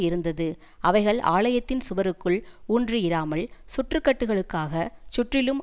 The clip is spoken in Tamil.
இருந்தது அவைகள் ஆலயத்தின் சுவருக்குள் ஊன்றியிராமல் சுற்றுக்கட்டுகளுக்காகச் சுற்றிலும்